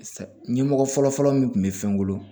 Ɲɛmɔgɔ fɔlɔfɔlɔ min kun bɛ fɛn bolo